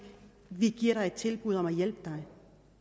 vi giver dig et tilbud om hjælp